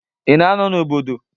Ị na-anọ n'obodo?